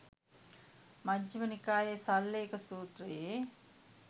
මජ්ඣිම නිකායේ සල්ලේඛ සූත්‍රයේ